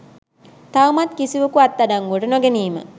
තවමත් කිසිවකු අත්අඩංගුවට නොගැනීම